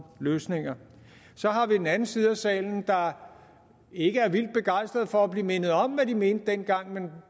løsninger så har vi den anden side af salen der ikke er vildt begejstret for at blive mindet om hvad de mente dengang men